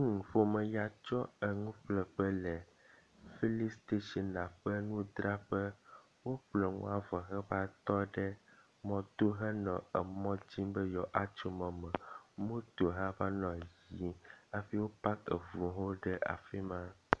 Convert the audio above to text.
Nyɔnu ƒome ya tso enuƒleƒe le filin station ƒe ŋudzraƒe. Woƒle enua vɔ heva tɔ ɖe emɔto henɔ emɔ dzim be yewo ava tso mɔ me. Moto hã va nɔ yiyim hafi wo pak eŋuwo hã ɖe afi ma.